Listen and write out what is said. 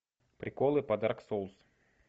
приколы по дарк соулс